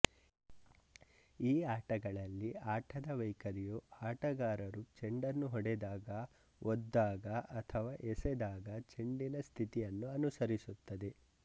ಈ ಆಟಗಳಲ್ಲಿ ಆಟದ ವೈಖರಿಯು ಆಟಗಾರರು ಚೆಂಡನ್ನು ಹೊಡೆದಾಗ ಒದ್ದಾಗ ಅಥವಾ ಎಸೆದಾಗ ಚೆಂಡಿನ ಸ್ಥಿತಿಯನ್ನು ಅನುಸರಿಸುತ್ತದೆ